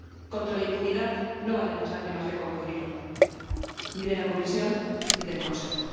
Contra la impunidad no valen las lágrimas de cocodrilo, ni de la Comisión ni del Consejo.